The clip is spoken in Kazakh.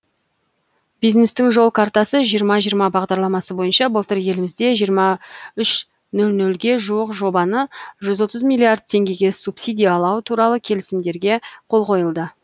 бизнестің жол картасы жиырма жиырма бағдарламасы бойынша былтыр елімізде жиырма үш ноль нольге жуық жобаны жүз отыз миллиард теңгеге субсидиялау туралы келісімдерге қол қойылды